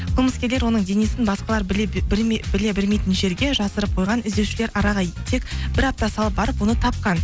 қылмыскерлер оның денесін басқалар біле бермейтін жерге жасырып қойған іздеушілер араға тек бір апта салып барып оны тапқан